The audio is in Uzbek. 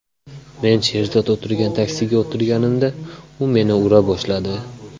Men Sherzod o‘tirgan taksiga o‘tirganimda u meni ura boshladi.